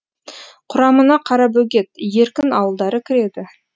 құрамына қарабөгет еркін ауылдары кіреді